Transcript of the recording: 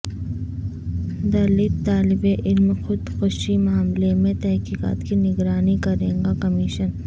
دلت طالب علم خود کشی معاملے میں تحقیقات کی نگرانی کرے گا کمیشن